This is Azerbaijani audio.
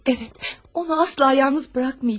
Əvət, onu asla yalnız buraxmayacam.